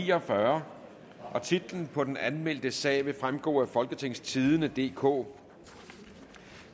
ni og fyrre titlen på den anmeldte sag vil fremgå af folketingstidende DK